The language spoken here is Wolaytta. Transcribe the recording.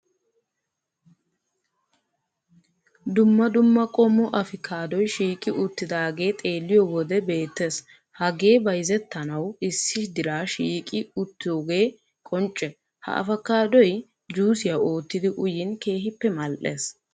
Dumma dumma qommo afikaadoy shiiqi uttidaagee xeelliyo wode beettees hagee bayzettanawu issi diraa shiiqi uttoogee qoncce ha afakaaddoy juusiya oottidi uyiin keehippe mal"ees